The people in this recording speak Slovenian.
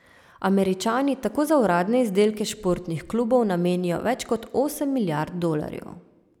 Američani tako za uradne izdelke športnih klubov namenijo več kot osem milijard dolarjev.